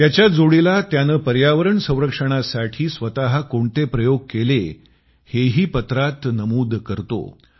त्याच्याच जोडीला त्यानं पर्यावरण संरक्षणासाठी स्वतः कोणते प्रयोग केले हेही पत्रात नमूद करतो